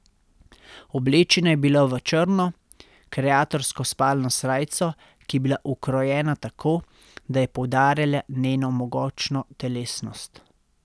Oblečena je bila v črno, kreatorsko spalno srajco, ki je bila ukrojena tako, da je poudarjala njeno mogočno telesnost.